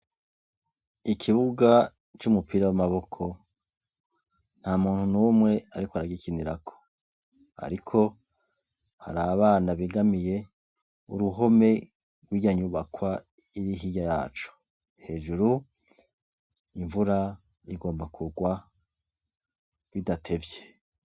ikibuga cumupira wamaboko ntamuntu numwe ariko aragikinirako ariko harabana begamiye uruhome yrwirya nyubakwa iri hirya yaco hejuru imvura igomba kugwa bidatevye